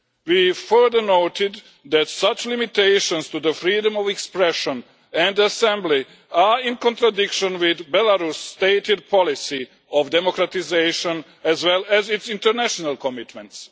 We further noted that such limitations to the freedom of expression and assembly are in contradiction with Belarus' stated policy of democratisation, as well as its international commitments.